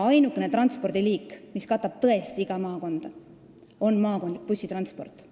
Ainukene transpordiliik, mis katab tõesti iga maakonda, on maakondlik bussitransport.